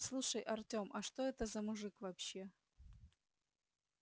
слушай артём а что это за мужик вообще